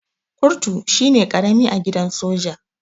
Kurtu shine karami a gidan soja.